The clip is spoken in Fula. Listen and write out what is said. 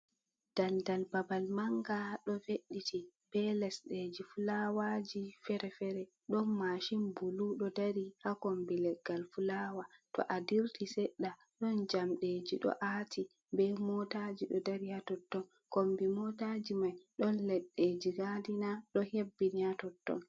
Dal dal babal manga do ve, eti, be leɗɗeji filawaji fere fere. Ɗon mashin bulu ɗo dari ha kombi leggal filawa. To a dirti seɗɗa ɗon jamɗe ji ɗo ati, be motaji ɗo dari ha totton. Kombi motajiman ɗon leɗɗe ji gadina ɗo hebbini ha totton.